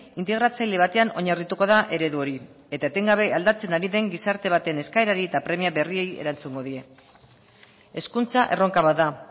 integratzaile batean oinarrituko da eredu hori eta etengabe aldatzen ari den gizarte baten eskaerari eta premia berriei erantzungo die hezkuntza erronka bat da